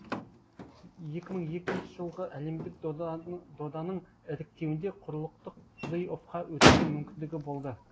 екі мың екінші жылғы әлемдік доданың іріктеуінде құрлықтық плей оффқа өтуге мүмкіндігі болды